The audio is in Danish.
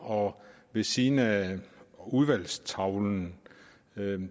ved siden af udvalgstavlen